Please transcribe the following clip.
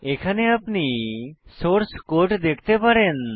এখানে আপনি source code দেখতে পারেন